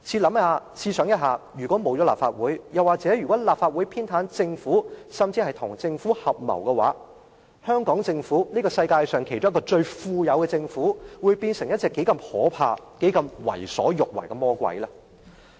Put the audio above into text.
大家試想一想，如果沒有立法會，又或者立法會偏袒政府甚至跟政府合謀，香港政府這個名列世界上一個最富有的政府，會否變成一隻可怕而且能夠為所欲為的魔鬼呢？